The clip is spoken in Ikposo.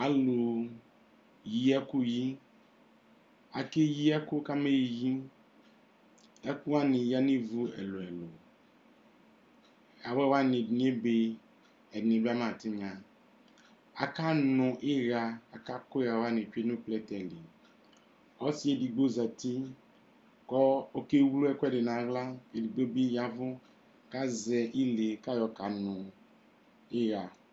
Alʋyi ɛkʋyi Akeyǝ ɛkʋ kamaɣa eyi Ɛkʋ wanɩ yǝ nʋ ivu ɛlʋ-ɛlʋ Awɛ wanɩ, ɛdɩnɩ ebe, ɛdɩnɩ bɩ ama tɩnya Akanʋ ɩɣa kʋ akʋ ɩɣa wanɩ tsue nʋ plɛtɛ li Ɔsɩ edigbo zati kʋ ɔkewlu ɛkʋɛdɩ nʋ aɣla Edigbo bɩ ya ɛvʋ kʋ azɛ ile kʋ ayɔkanʋ ɩɣa